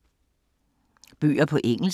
Bøger på engelsk